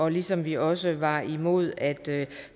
ligesom vi også var imod at